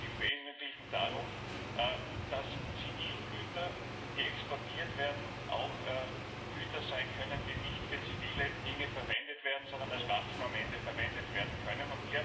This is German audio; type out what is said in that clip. Aber es geht im Wesentlichen darum, dass Zivilgüter, die exportiert werden, auch Güter sein können, die nicht für zivile Dinge verwendet werden, sondern am Ende als Waffen verwendet werden können.